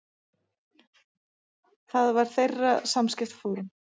Það var þeirra samskiptaform.